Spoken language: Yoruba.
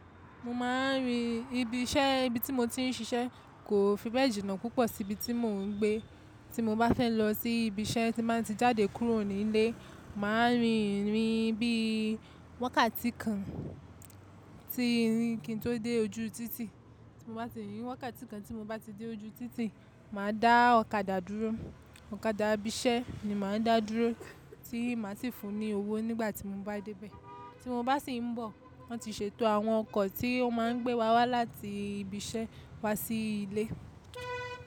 Mo ma ń rin ibi iṣẹ́, ibi tí mo ti ń ṣiṣẹ́ kò fi bẹ́ẹ̀ jìnnà púpọ̀ sí ibi tí mò ń gbé, tí mo bá fẹ́ lọ sí ibi iṣẹ́ tí màá ti jáde kúrò ní ilé, màá rin ìrìn bí i wákàtí kan tí ìrìn kí n tó dé ojú títì. Mo bá ti rínrin wákàtí kan tí mo bá ti dé ojú títì, màá dá ọ̀kadà dúró, ọ̀kadà ibi iṣẹ́ ni màá dá dúró tí màá sì fún un ní owó nígbà tí mo bá dé bẹ́ẹ̀. Tí mo bá sì ń bọ̀, wọ́n ti ṣètò àwọn ọkọ̀ tí ó máa ń gbé wa wá láti ibi iṣẹ́ wá sí ilé.